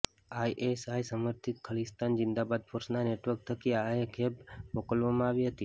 ISI સમર્થિત ખાલીસ્તાન જિંદાબાદ ફોર્સના network થકી આ ખેપ મોકલવામાં આવી હતી